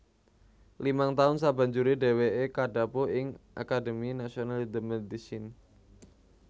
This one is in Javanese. Limang taun sabanjuré dhèwèké kadhapuk ing Académie Nationale de Médecine